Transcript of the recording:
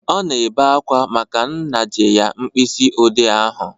Ọ na-ebe akwa maka na m naje ya mkpịsị ode ahụ